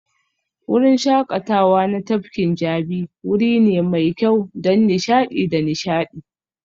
Wurin shakatawa na tafkin Jabi wuri ne mai kyau don nishaɗi da nishaɗi